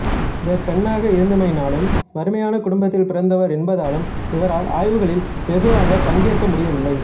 இவர் பெண்ணாக இருந்தமையினாலும் வறுமையான குடும்பத்தில் பிறந்தவர் என்பதாலும் இவரால் ஆய்வுகளில் வெகுவாகப் பங்கேற்க முடியவில்லை